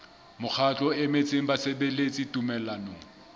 mokgatlo o emetseng basebeletsi tumellanong